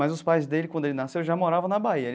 Mas os pais dele, quando ele nasceu, já moravam na Bahia.